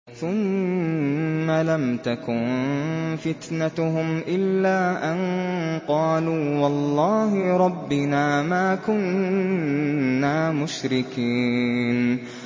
ثُمَّ لَمْ تَكُن فِتْنَتُهُمْ إِلَّا أَن قَالُوا وَاللَّهِ رَبِّنَا مَا كُنَّا مُشْرِكِينَ